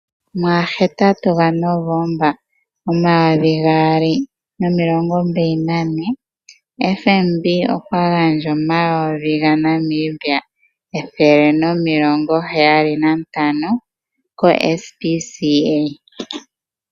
Mugahetatu gaNovomba, omayovi gaali nomilongo mbali nane, FNB okwa gandja omayovi gaNamibia ethele nomilongo heyali nantano koSPCA.